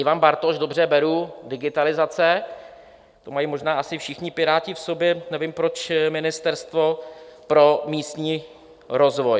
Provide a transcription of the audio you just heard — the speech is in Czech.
Ivan Bartoš - dobře, beru, digitalizace - to mají možná asi všichni Piráti v sobě - nevím, proč Ministerstvo pro místní rozvoj.